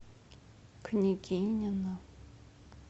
княгинино